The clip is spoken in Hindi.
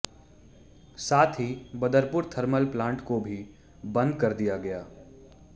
साथ ही बदरपुर थर्मल प्लांट को भी बंद कर दिया गया है